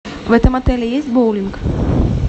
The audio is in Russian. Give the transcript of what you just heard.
в этом отеле есть боулинг